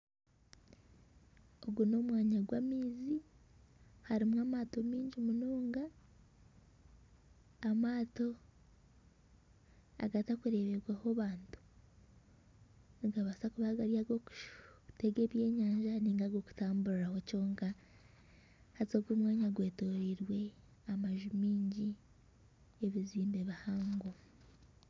Ogu n'omwanya gw'amaizi harimu amaato mingi munonga. Amaato agatakurebwaho bantu. Nigabaasa kuba gari agokutega ebyenyanja ninga agokutamburiraho kyonka. Haza og'omwanya gwetoreirwe amaju mingi, ebizimbe bihango.